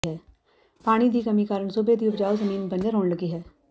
ਪਾਣੀ ਦੀ ਕਮੀ ਕਾਰਨ ਸੂਬੇ ਦੀ ਉਪਜਾਊ ਜ਼ਮੀਨ ਬੰਜਰ ਹੋਣ ਲੱਗੀ ਹੈ